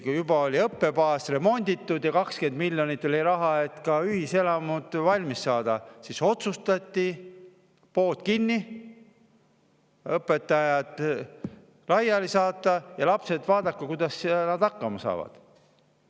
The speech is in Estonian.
Kui õppebaas oli juba remonditud ja 20 miljonit eurot oli, et ka ühiselamud valmis saada, siis otsustati, et pood kinni, õpetajad saadetakse laiali ja lapsed vaadaku ise, kuidas nad hakkama saavad.